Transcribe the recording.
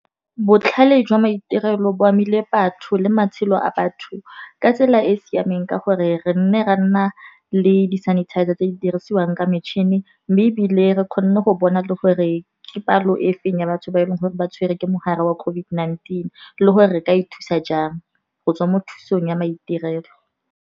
Botlhale jwa maitirelo bo amile batho le matshelo a batho ka tsela e e siameng ka gore re nne ra nna le di sanitizer tse di dirisiwang ke metšhini. Mme ebile re kgone go bona le gore ke palo e feng ya batho ba e leng gore ba tshwere ke mogare wa COVID-19. Le gore re ka e thusa jang go tswa mo thusong ya maitirelo.